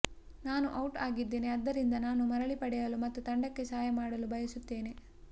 ನಾನು ಔಟ್ ಆಗಿದ್ದೇನೆ ಆದ್ದರಿಂದ ನಾನು ಮರಳಿ ಪಡೆಯಲು ಮತ್ತು ತಂಡಕ್ಕೆ ಸಹಾಯ ಮಾಡಲು ಬಯಸುತ್ತೇನೆ